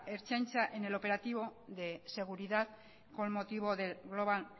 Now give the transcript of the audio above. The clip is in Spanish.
ertzaintza en el operativo de seguridad con motivo del global